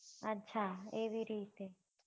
અચ્છા એવી રીતે